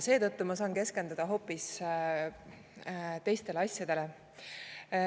Seetõttu ma saan keskenduda hoopis teistele asjadele.